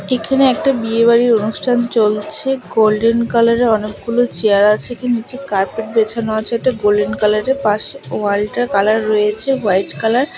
এখানে একটা বিয়ে বাড়ির অনুষ্ঠান চলছে গোল্ডেন কালারের অনেকগুলো চেয়ার আছে কি নীচে কার্পেট বেছানো আছে একটা গোল্ডেন কালারের পাশে ওয়ালটার কালার রয়েছে হোয়াইট কালার ।